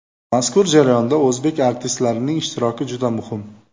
Mazkur jarayonda o‘zbek artistlarining ishtiroki juda muhim”.